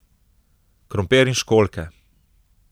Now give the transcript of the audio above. Krompir in školjke.